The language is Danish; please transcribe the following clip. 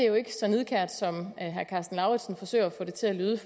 jo ikke så nidkært som herre karsten lauritzen forsøger at få det til at lyde